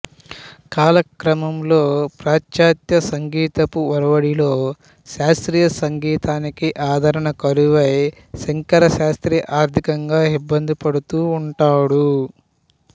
కాలక్రమంలో పాశ్చాత్య సంగీతపు ఒరవడిలో శాస్త్రీయ సంగీతానికి ఆదరణ కరువై శంకరశాస్త్రి ఆర్థికంగా ఇబ్బంది పడుతూ ఉంటాడు